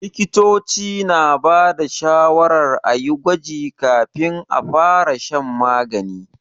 Likitoci na ba da shawarar a yi gwaji kafin a fara shan magani.